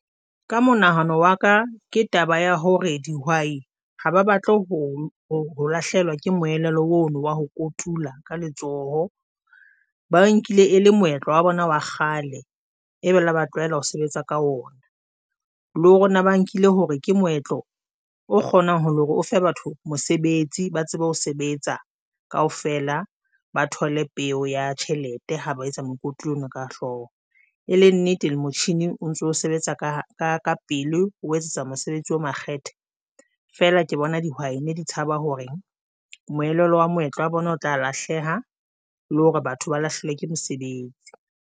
Ka monahano wa ka ke taba ya hore dihwai ha ba batle ho ho lahlehelwa ke moelelo ono wa ho kotula ka letsoho, ba nkile e le moetlo wa bona wa kgale e be le ba tlwaela ho sebetsa ka ona, le hona ba nkile hore ke moetlo o kgonang ho le hore o fe batho mosebetsi ba tsebe ho sebetsa kaofela, ba thole peo ya tjhelete ha ba etsa mokoti ona ka hlooho. E le nnete le motjhini o ntso sebetsa ka pele o etsetsa mosebetsi o makgethe. Fela ke bona dihwai di tshaba hore moelolo wa moetlo wa bona o tla lahleha le hore batho ba lahluwe ke mosebetsi.